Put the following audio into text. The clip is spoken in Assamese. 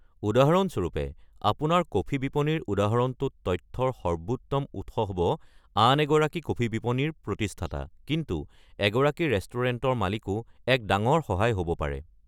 উদাহৰণস্বৰূপে, আপোনাৰ কফি বিপনীৰ উদাহৰণটোত তথ্যৰ সৰ্বোত্তম উৎস হ'ব আন এগৰাকী কফি বিপনীৰ প্ৰতিস্থাতা, কিন্তু এগৰাকী ৰেষ্টুৰেণ্টৰ মালিকো এক ডাঙৰ সহায় হ'ব পাৰে।